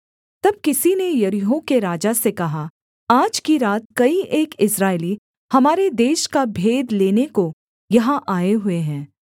तब किसी ने यरीहो के राजा से कहा आज की रात कई एक इस्राएली हमारे देश का भेद लेने को यहाँ आए हुए हैं